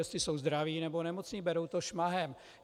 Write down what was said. Jestli jsou zdraví, nebo nemocní, berou to šmahem.